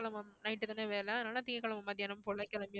night தானே வேலை அதனால திங்கட்கிழமை மத்தியானம் போல கிளம்பி~